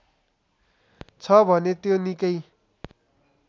छ भने त्यो निकै